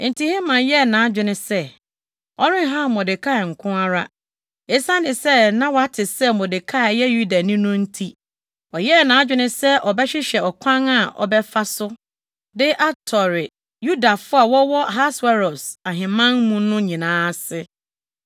Enti Haman yɛɛ nʼadwene sɛ, ɔrenhaw Mordekai nko ara. Esiane sɛ na wate sɛ Mordekai yɛ Yudani no nti, ɔyɛɛ nʼadwene sɛ ɔbɛhwehwɛ ɔkwan a ɔbɛfa so de atɔre Yudafo a wɔwɔ Ahasweros ahemman mu no nyinaa ase.